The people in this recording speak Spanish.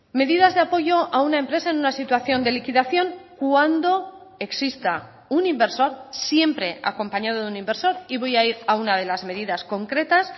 medidas de apoyo a una empresa en una situación de liquidación cuando exista un inversor siempre acompañado de un inversor y voy a ir a una de las medidas concretas